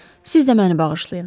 Siz də məni bağışlayın.